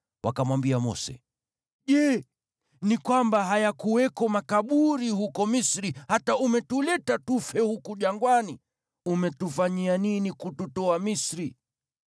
Wakamwambia Mose, “Je, ni kwamba hayakuwako makaburi huko Misri hata umetuleta tufe huku jangwani? Umetufanyia nini kututoa Misri?